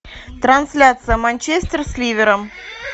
трансляция манчестер с ливером